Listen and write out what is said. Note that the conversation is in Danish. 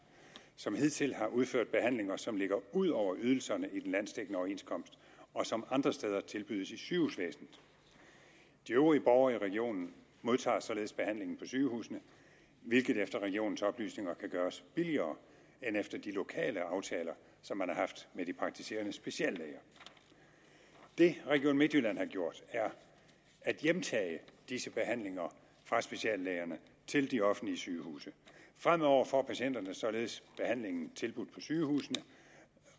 som hidtil har udført behandlinger som ligger ud over ydelserne i den landsdækkende overenskomst og som andre steder tilbydes i sygehusvæsenet de øvrige borgere i regionen modtager således behandling på sygehusene hvilket efter regionens oplysninger kan gøres billigere end efter de lokale aftaler som man har haft med de praktiserende speciallæger det region midtjylland har gjort er at hjemtage disse behandlinger fra speciallægerne til de offentlige sygehuse fremover får patienterne således behandlingen tilbudt på sygehusene